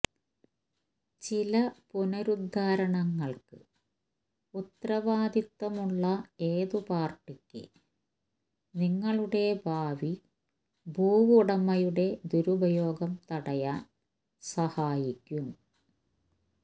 ചില പുനരുദ്ധാരണങ്ങൾക്ക് ഉത്തരവാദിത്തമുള്ള ഏത് പാർട്ടിക്ക് നിങ്ങളുടെ ഭാവി ഭൂവുടമയുടെ ദുരുപയോഗം തടയാൻ സഹായിക്കും